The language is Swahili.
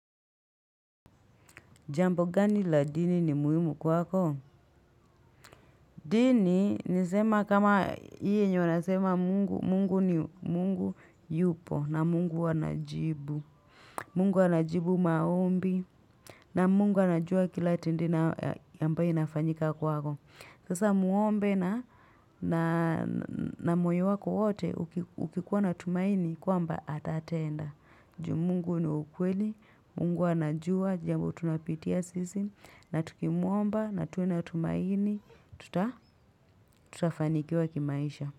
Jambo gani la dini ni muhimu kwako? Dini, nisema kama ii yenye wanasema mungu, mungu ni mungu yupo na mungu anajibu. Mungu anajibu maombi na mungu anajua kila tendi inayo ambayo inafanyika kwako. Sasa muombe na moyo wako wote ukikuwa na tumaini kwamba atatenda. Ju mungu ni wa ukweli, mungu anajua, jambo tunapitia sisi, na tukimuomba, na tuwe na tumaini, tutafanikiwa kimaisha.